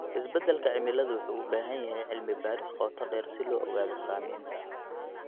Isbedelka cimilada wuxuu u baahan yahay cilmi baaris qoto dheer si loo ogaado saameynta.